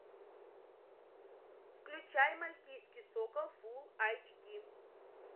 включай мальтийский сокол фулл айч ди